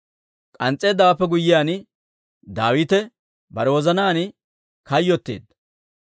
K'ans's'eeddawaappe guyyiyaan, Daawite bare wozanaan kayyotteedda.